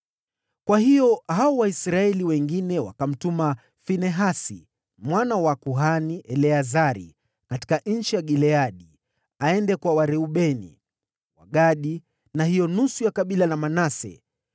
Kwa hiyo Waisraeli wengine wakamtuma Finehasi mwana wa kuhani Eleazari katika nchi ya Gileadi, kwa Wareubeni, Wagadi na hiyo nusu ya kabila la Manase.